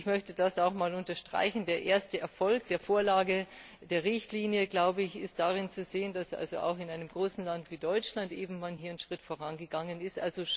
Ich möchte das auch mal unterstreichen Der erste Erfolg der Vorlage, der Richtlinie ist darin zu sehen, dass auch in einem großen Land wie Deutschland man eben hier einen Schritt vorangegangen ist.